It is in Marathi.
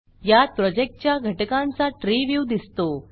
यात प्रोजेक्टच्या घटकांचा ट्री व्ह्यू दिसतो